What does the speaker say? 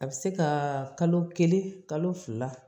A bɛ se ka kalo kelen kalo fila